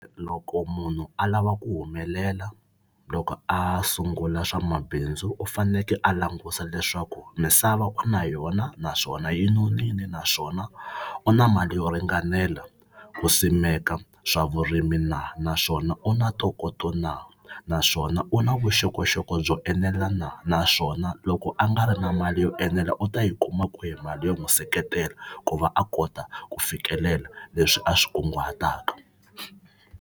Loko munhu a lava ku humelela loko a sungula swa mabindzu u faneke a languta leswaku misava u na yona naswona yi nonile naswona u na mali yo ringanela ku simeka swa vurimi na naswona u na ntokoto na naswona u na vuxokoxoko byo enela na naswona loko a nga ri na mali yo enela u ta yi kuma kwihi mali yo n'wi seketela ku va a kota ku fikelela leswi a swi kunguhataka.